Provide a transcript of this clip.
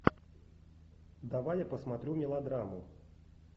давай я посмотрю мелодраму